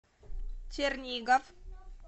чернигов